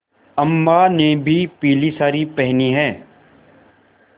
अम्मा ने भी पीली सारी पेहनी है